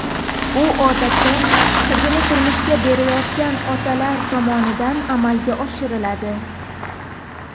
U odatda qizini turmushga berayotgan otalar tomonidan amalga oshiriladi.